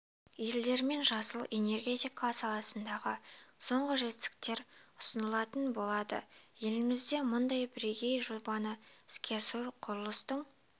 елдермен жасыл энергетика саласындағы соңғы жетістіктер ұсынылатын болады елімізде мұндай бірегей жобаны іске асыру құрылыстың